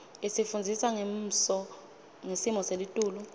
isifundzisa ngesmo selitulu